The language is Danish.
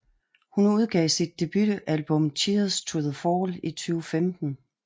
Hun udgav sit debutalbum Cheers to the fall i 2015